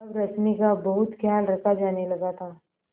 अब रश्मि का बहुत ख्याल रखा जाने लगा था